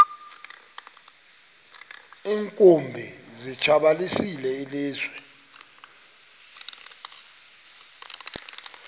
iinkumbi zilitshabalalisile ilizwe